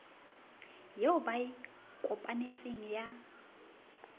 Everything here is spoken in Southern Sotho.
eo ba e kopanetseng ya